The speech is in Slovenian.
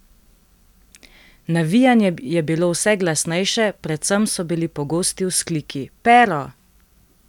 Navijanje je bilo vse glasnejše, predvsem so bili pogosti vzkliki: "Pero!